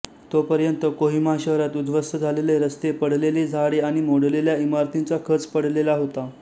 तोपर्यंत कोहिमा शहरात उद्ध्वस्त झालेले रस्ते पडलेली झाडे आणि मोडलेल्या इमारतींचा खच पडलेला होता